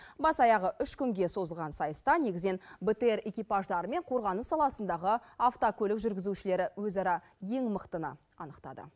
бас аяғы үш күнге созылған сайыста негізінен бтр экипаждары мен қорғаныс саласындағы автокөлік жүргізушілері өзара ең мықтыны анықтады